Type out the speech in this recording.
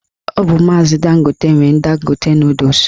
Ọ bụ maazi Dangote nwe Dangote nọdụs